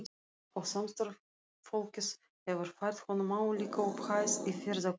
Og samstarfsfólkið hefur fært honum álíka upphæð í ferðakostnaðinn.